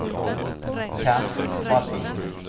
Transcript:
Kent Vallin